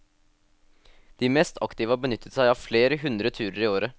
De mest aktive har benyttet seg av flere hundre turer i året.